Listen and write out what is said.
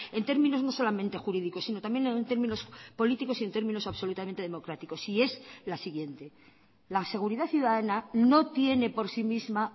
en términos no solamente jurídicos sino también en términos políticos y en términos absolutamente democráticos y es la siguiente la seguridad ciudadana no tiene por sí misma